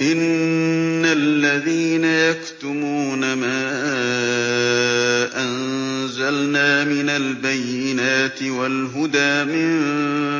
إِنَّ الَّذِينَ يَكْتُمُونَ مَا أَنزَلْنَا مِنَ الْبَيِّنَاتِ وَالْهُدَىٰ مِن